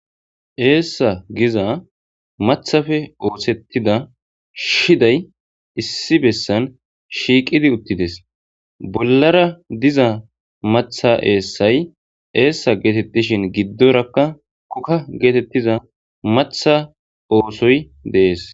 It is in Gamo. Essa getetida mathape ossetida shidayi issi bessani shiqidi utidesi bollara diza matha essayi essa gidishini gidoraka koka giza matha ossoyi dessi